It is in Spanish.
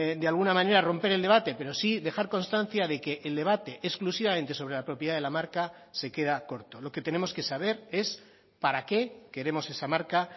de alguna manera romper el debate pero sí dejar constancia de que el debate exclusivamente sobre la propiedad de la marca se queda corto lo que tenemos que saber es para qué queremos esa marca